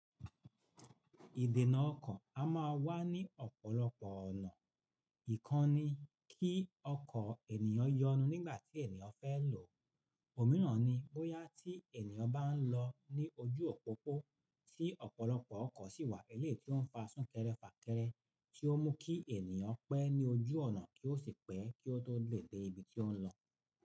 Ìdènà ọkọ̀ a máa wá ní ọ̀pọ̀lọpọ̀ ọ̀nà. Ìkan ni kí ọkọ̀ ènìyàn yọnu nígbàtí ènìyàn fẹ́ lò. Òmíràn ni bóyá tí ènìyàn bá ń lọ ní ojú òpópó tí ọ̀pọ̀lọpọ̀ ọkọ̀ sì wà eléyi tí ó ń fa súnkẹrẹ fà kẹrẹ tí ó mú kí ènìyàn pẹ́ ní ojú ọ̀nà kí ó sì pẹ́ kí ó tó lè dé ibi tí ó ń lọ.